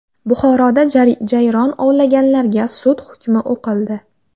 Buxoroda jayron ovlaganlarga sud hukmi o‘qildi.